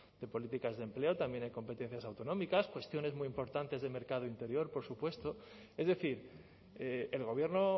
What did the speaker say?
de políticas de empleo también hay competencias autonómicas cuestiones muy importantes de mercado interior por supuesto es decir el gobierno